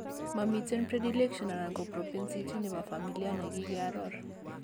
Momiten predillection anan ko propensity nebo familia negikee aror